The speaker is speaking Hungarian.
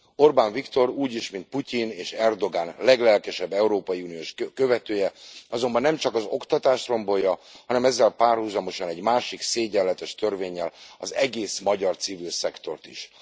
Orbán Viktor, úgy is, mint Putyin és Erdogan leglelkesebb európai uniós követője, azonban nem csak az oktatást rombolja, hanem ezzel párhuzamosan egy másik szégyenletes törvénnyel az egész magyar civil szektort is.